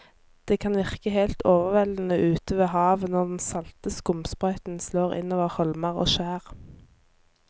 Det kan virke helt overveldende ute ved havet når den salte skumsprøyten slår innover holmer og skjær.